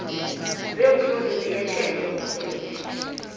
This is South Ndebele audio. zeemfunda ziyatjhejwa ngurhulumende